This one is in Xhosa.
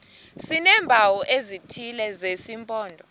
sineempawu ezithile zesimpondo